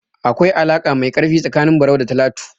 Akwai alaƙa mai ƙarfi tsakanin Barau da Talatu.